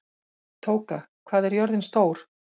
Tóka, hvað er jörðin stór?